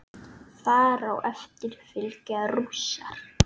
Þar á eftir fylgja rússar.